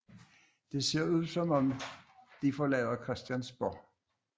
Det ser ud som om de forlader Christiansborg